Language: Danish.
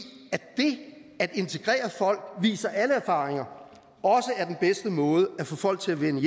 det at integrere folk viser alle erfaringer er den bedste måde at få folk til at vende